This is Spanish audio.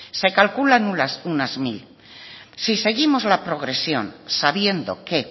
se calculan unas mil si seguimos la progresión sabiendo que